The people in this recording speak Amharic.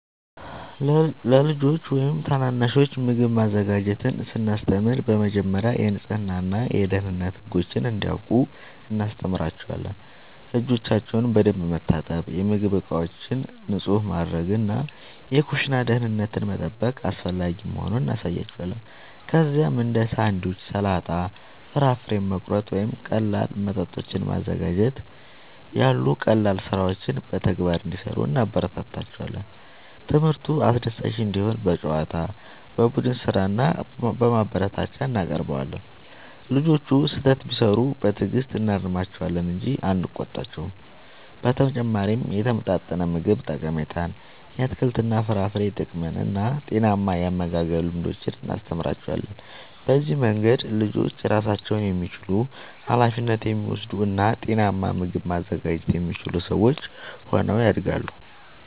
ለልጆች ወይም ታናናሾች ምግብ ማዘጋጀትን ስናስተምር በመጀመሪያ የንጽህና እና የደህንነት ህጎችን እንዲያውቁ እናስተምራቸዋለን። እጆቻቸውን በደንብ መታጠብ፣ የምግብ ዕቃዎችን ንጹህ ማድረግ እና የኩሽና ደህንነትን መጠበቅ አስፈላጊ መሆኑን እናሳያቸዋለን። ከዚያም እንደ ሳንድዊች፣ ሰላጣ፣ ፍራፍሬ መቁረጥ ወይም ቀላል መጠጦችን ማዘጋጀት ያሉ ቀላል ሥራዎችን በተግባር እንዲሠሩ እናበረታታቸዋለን። ትምህርቱ አስደሳች እንዲሆን በጨዋታ፣ በቡድን ሥራ እና በማበረታቻ እናቀርበዋለን። ልጆቹ ስህተት ቢሠሩ በትዕግሥት እናርማቸዋለን እንጂ አንቆጣቸውም። በተጨማሪም የተመጣጠነ ምግብ ጠቀሜታን፣ የአትክልትና የፍራፍሬ ጥቅምን እና ጤናማ የአመጋገብ ልምዶችን እናስተምራቸዋለን። በዚህ መንገድ ልጆች ራሳቸውን የሚችሉ፣ ኃላፊነት የሚወስዱ እና ጤናማ ምግብ ማዘጋጀት የሚችሉ ሰዎች ሆነው ያድጋሉ።